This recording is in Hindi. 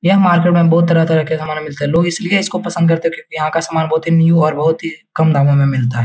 यह माडवे में बोहोत तरहा-तरहा का खाना मिलता हे। लोग इस लिए इसको पसंद करते क्यों की याहा का सामन न्यू और बोहोत ही कम दामो में मिलता हे।